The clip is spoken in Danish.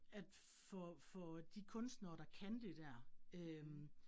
At få få de kunstnere, der kan det dér øh